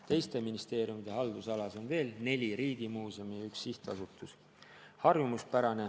Teiste ministeeriumide haldusalas on veel neli riigimuuseumi ja üks sihtasutus.